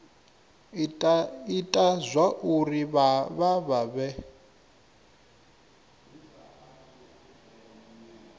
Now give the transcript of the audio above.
ita zwauri vha vha vhe